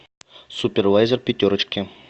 супервайзер пятерочки